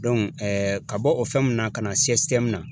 ka bɔ o fɛn mun na ka na na